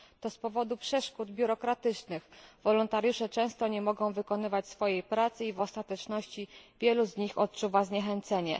To z powodu przeszkód biurokratycznych wolontariusze często nie mogą wykonywać swojej pracy i w ostateczności wielu z nich odczuwa zniechęcenie.